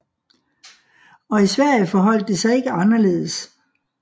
Og i Sverige forholdt det sig ikke anderledes